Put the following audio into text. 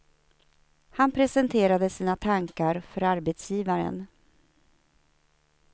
Han presenterade sina tankar för arbetsgivaren.